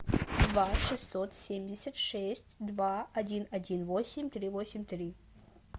два шестьсот семьдесят шесть два один один восемь три восемь три